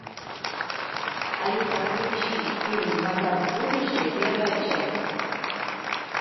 алиса включи фильм назад в будущее первая часть